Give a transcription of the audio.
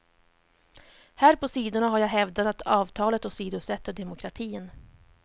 Här på sidorna har jag hävdat att avtalet åsidosätter demokratin.